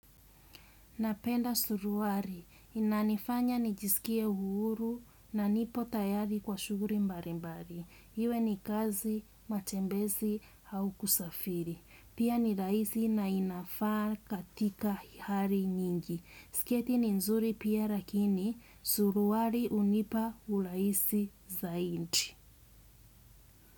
Napenda suruaki. Inanifanya nijisikie huru na nipo tayari kwa shughuli mbalimbali. Iwe ni kazi matembezi au kusafiri. Pia ni rahisi na inafaa katika hali nyingi. Sketi ni nzuri pia lakini. Suruali hunipa urahisi zaidi.